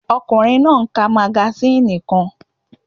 Ọkùnrin náà ń ka magasíìnì kan